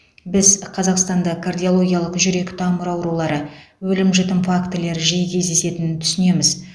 біз қазақстанда кардиологиялық жүрек тамыр аурулары өлім жітім фактілері жиі кездесетінін түсінеміз